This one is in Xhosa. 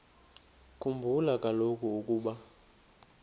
khumbula kaloku ukuba